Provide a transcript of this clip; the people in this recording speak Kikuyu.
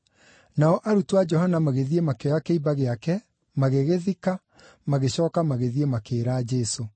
Nao arutwo a Johana magĩthiĩ makĩoya kĩimba gĩake, magĩgĩthika, magĩcooka magĩthiĩ makĩĩra Jesũ.